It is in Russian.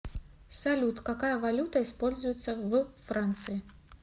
салют какая валюта используется в франции